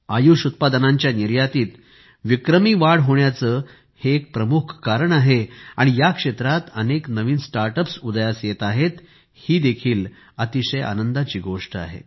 आयुष उत्पादनांच्या निर्यातीत विक्रमी वाढ होण्याचे हे एक प्रमुख कारण आहे आणि या क्षेत्रात अनेक नवीन स्टार्टअप्स उदयास येत आहेत हे देखील अतिशय आनंददायी आहे